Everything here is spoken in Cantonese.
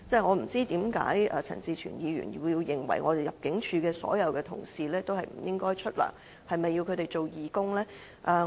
我不知道為何陳志全議員認為入境處所有同事也不應該享有薪酬，是否要迫他們做義工呢？